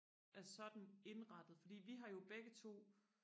er sådan indrettet fordi vi har jo begge to